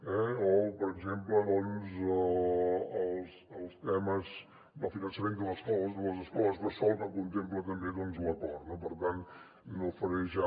o per exemple doncs els temes del finançament de les escoles bressol que contempla també l’acord no per tant no faré ja